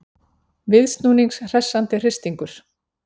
Viðsnúnings hressandi hristingur